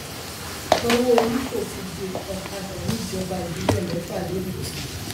sanwóolú fòfin dé ọkadà níjọba ìbílẹ mẹfà lẹkọọ